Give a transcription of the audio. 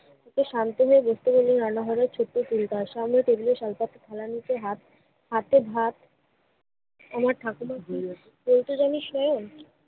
শান্ত হয়ে বসতে বললো রান্নাঘরে ছোট্ট টুলটায়। সামনের পরিবেশ হালকা। থালার ভিতর হাত, হাতে ভাত আমার ঠাকুরমা কি বলত জানিস শায়ন?